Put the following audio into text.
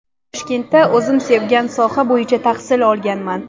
Toshkentda o‘zim sevgan soha bo‘yicha tahsil olganman.